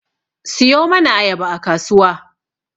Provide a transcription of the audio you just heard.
Siyo mana ayaba a kasuwa